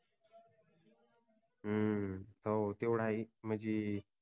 हम्म हो तेवढ हाय म्हणजी